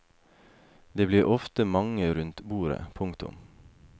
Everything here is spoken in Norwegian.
Det blir ofte mange rundt bordet. punktum